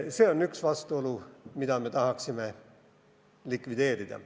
See on üks vastuolu, mida me tahaksime likvideerida.